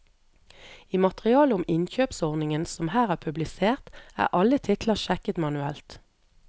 I materialet om innkjøpsordningen som her er publisert, er alle titler sjekket manuelt.